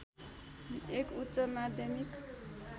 एक उच्च माध्यमिक